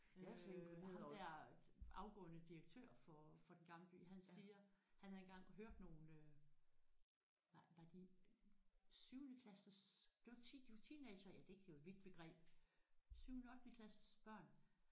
Øh ham der afgående direktør for for Den Gamle By han siger han havde engang hørt nogle øh var var de syvendeklasses det var det var teenagere ja det kan jo et vidt begreb syvende ottendeklasses børn